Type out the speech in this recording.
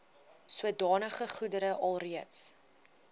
sodanige goedere alreeds